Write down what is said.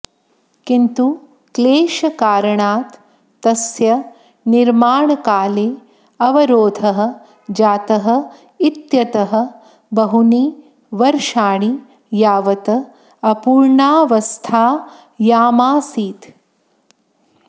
किन्तु क्लेशकारणात् तस्य निर्माणकाले अवरोधः जातः इत्यतः बहूनि वर्षाणि यावत् अपूर्णावस्थायामासीत्